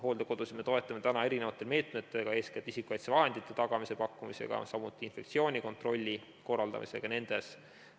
Hooldekodusid me toetame täna erinevate meetmetega, eeskätt isikukaitsevahendite pakkumisega, samuti infektsioonikontrolli korraldamisega nendes.